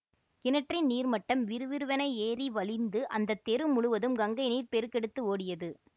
கிணற்றின் நீர்மட்டம் விறுவிறுவென ஏறி வழிந்து அந்த தெரு முழுதும் கங்கை நீர் பெருக்கெடுத்து ஓடியது